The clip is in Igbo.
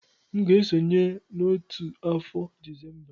M ga-esonye n'otu afọ Disemba a.